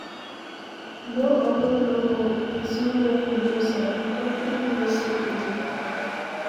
No open door for pesin wey you no sabi, country no safe again